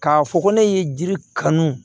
K'a fɔ ko ne ye jiri kanu